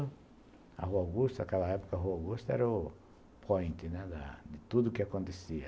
A Rua Augusta, naquela época, a Rua Augusta era o point, né, da de tudo que acontecia.